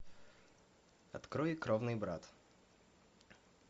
открой кровный брат